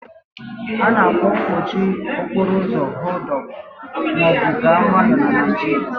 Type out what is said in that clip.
A na-akpọ mkpọchị okporo ụzo "họld up" ma ọ bụ "gaa nwayọọ" na Naịjirịa.